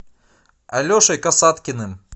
алешей касаткиным